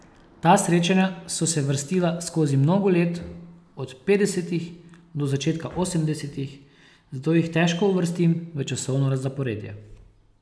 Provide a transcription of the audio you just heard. Ta srečanja so se vrstila skoz mnogo let, od petdesetih do začetka osemdesetih, zato jih težko uvrstim v časovno zaporedje.